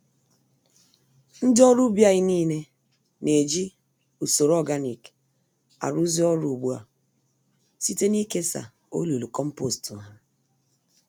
Ndị ọrụ ubi anyị nile na-eji usoro ọganik arụzi ọrụ ùgbúà, site nikesa olulu kompost há